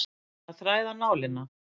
Að þræða nálina